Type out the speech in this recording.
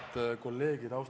Head kolleegid!